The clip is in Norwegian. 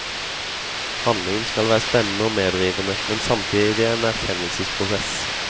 Handlingen skal være spennende og medrivende, men samtidig en erkjennelsesprosess.